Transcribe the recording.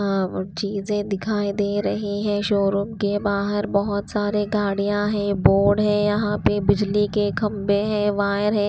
आ चीजें दिखाई दे रही है शोरूम के बाहर बहुत सारे गाड़ियां हैं बोर्ड है यहाँ पे बिजली के खंबे हैं वायर है।